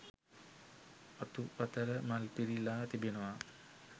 අතු පතර මල් පිරිලා තිබෙනවා.